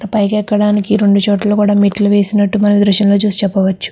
పైకి ఎక్కడానికి రెండు చోట్ల కూడా మెట్లు వేసినట్టు మనం ఈ దృశ్యం లో చూసి చెప్పవచ్చు.